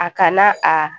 A kana a